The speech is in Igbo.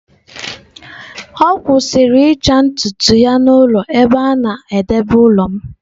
Ọ kwụsịrị ịcha ntutu ya n'ụlọ ebe a na-edebe ụlọ m.